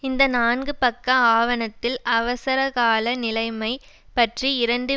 இந்த நான்கு பக்க ஆவணத்தில் அவசரகால நிலைமை பற்றி இரண்டு